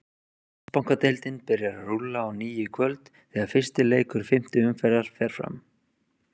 Landsbankadeildin byrjar að rúlla á ný í kvöld þegar fyrsti leikur fimmtu umferðar fer fram.